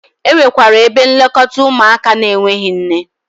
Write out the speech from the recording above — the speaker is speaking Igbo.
Enwekwara ebe nlekọta ụmụaka n'enweghi nne.